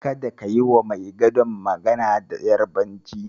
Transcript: Kada ka yiwa mai gadon magana da Yarabanci.